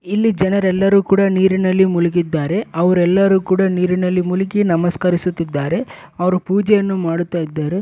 ಇಲ್ಲಿ ಜನರೆಲ್ಲರೂ ಕೂಡ ನೀರಿನಲ್ಲಿ ಮುಳುಗಿದ್ದಾರೆ ಅವರೆಲ್ಲರೂ ಕೂಡ ನೀರಿನಲ್ಲಿ ಮುಳುಗಿ ನಮಸ್ಕರಿಸುತ್ತಿದ್ದಾರೆ. ಅವ್ರು ಪೂಜೆಯನ್ನು ಮಾಡುತ್ತಾ ಇದ್ದಾರೆ.